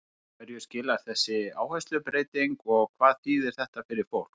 En hverju skilar þessi áherslubreyting og hvað þýðir þetta fyrir fólk?